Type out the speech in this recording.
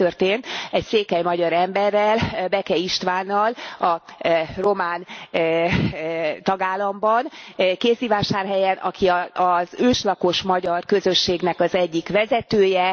Ez történt egy székely magyar emberrel, Beke Istvánnal a román tagállamban, Kézdivásárhelyen, aki az őslakos magyar közösségnek az egyik vezetője.